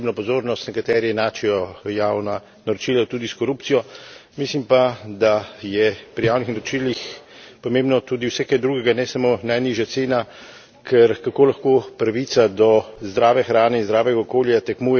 Nekateri enačijo javna naročila tudi s korupcijo, mislim pa, da je pri javnih naročilih pomembno tudi vse kaj drugega, ne samo najnižja cena, ker kako lahko pravica do zdrave hrane in zdravega okolja tekmuje z najnižjo ceno.